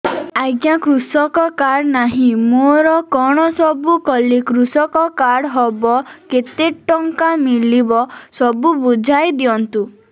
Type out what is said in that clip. ଆଜ୍ଞା କୃଷକ କାର୍ଡ ନାହିଁ ମୋର କଣ ସବୁ କଲେ କୃଷକ କାର୍ଡ ହବ କେତେ ଟଙ୍କା ମିଳିବ ସବୁ ବୁଝାଇଦିଅନ୍ତୁ